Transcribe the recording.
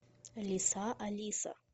лиса алиса